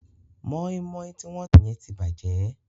Mọ́ímọ́í tí wọ́n tà yẹn ti bàjẹ́.